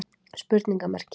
spurningamerki